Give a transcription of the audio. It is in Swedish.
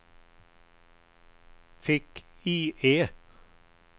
fick-IE